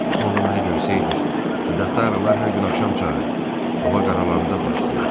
Onda mənə deyirdiniz ki, xəyalı ağrılar hər gün axşam çağı, hava qaralanda başlayırdı.